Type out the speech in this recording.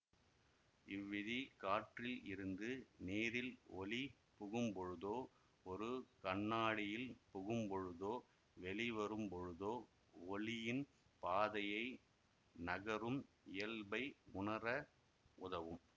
இவ்விதி காற்றில் இருந்து நீரில் ஒளி புகும்பொழுதோ ஒரு கண்ணாடியில் புகும்பொழுதோ வெளிவரும்பொழுதோ ஒளியின் பாதையை நகரும் இயல்பை உணர உதவம்